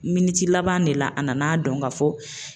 laban na de la a nana dɔn ka fɔ